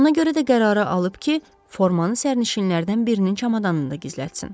Ona görə də qərarı alıb ki, formanı sərnişinlərdən birinin çamadanında gizlətsin.